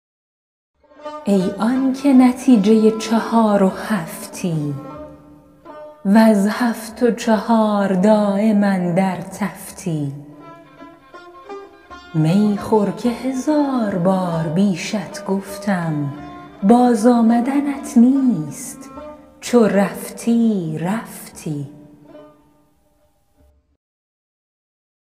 ای آنکه نتیجه چهار و هفتی وز هفت و چهار دایم اندر تفتی می خور که هزار بار بیشت گفتم باز آمدنت نیست چو رفتی رفتی